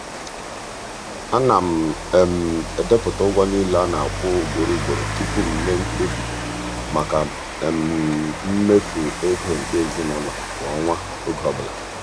ana m edepụta ụgwọ niile a na-akwụ ugboro ugboro tupu m mee mkpebi maka mmefu ego nke ezinụụlọ kwa ọnwa oge ọbụla.